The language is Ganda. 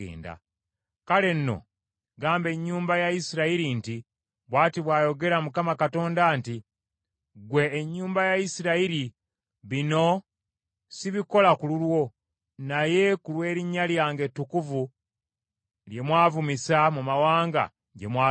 “Kale nno gamba ennyumba ya Isirayiri nti, ‘Bw’ati bw’ayogera Mukama Katonda nti: Ggwe ennyumba ya Isirayiri bino sibikola ku lulwo, naye ku lw’erinnya lyange ettukuvu lye mwavumisa mu mawanga gye mwagenda.